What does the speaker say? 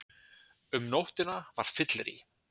Um nóttina var fyllerí.